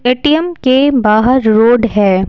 ATM के बाहर road है।